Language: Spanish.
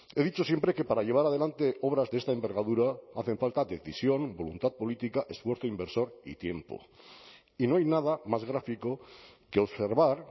he dicho siempre que para llevar adelante obras de esta envergadura hacen falta decisión voluntad política esfuerzo inversor y tiempo y no hay nada más gráfico que observar